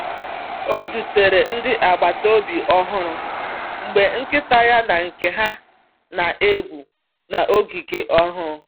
Ọ zutere ndị agbata obi ọhụrụ mgbe nkịta ya na nke ha na-egwu n’ogige ọnụ.